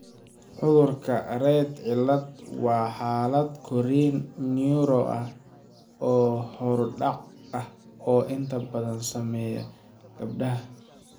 Cudurka 'rett cilad' waa xaalad korriin neuro ah oo horudhac ah oo inta badan saameeya gabdhaha.